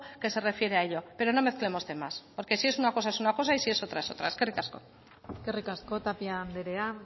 que se refiere a ello pero no mezclemos temas porque si es una cosa es una cosa y es si es otra es otra eskerrik asko eskerrik asko tapia andrea